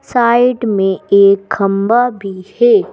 Side में एक खंबा भी है।